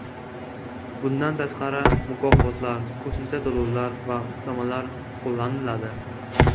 Bundan tashqari, mukofotlar, qo‘shimcha to‘lovlar va ustamalar qo‘llaniladi.